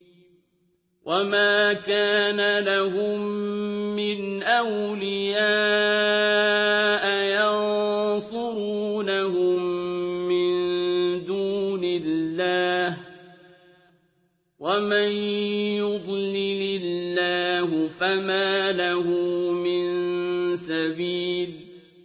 وَمَا كَانَ لَهُم مِّنْ أَوْلِيَاءَ يَنصُرُونَهُم مِّن دُونِ اللَّهِ ۗ وَمَن يُضْلِلِ اللَّهُ فَمَا لَهُ مِن سَبِيلٍ